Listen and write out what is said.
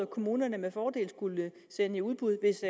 kommunerne med fordel skulle sende i udbud hvis